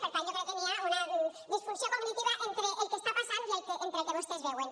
per tant jo crec que hi ha una disfunció cognitiva entre el que està passant i el que vostès veuen